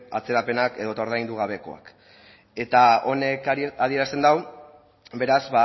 atzerapenak edo eta ordaindu gabekoak eta honek adierazten du beraz